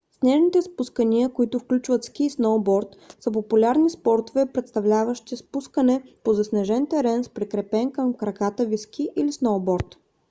снежните спускания които включват ски и сноуборд са популярни спортове представляващи спускане по заснежен терен с прикрепен към краката ви ски или сноуборд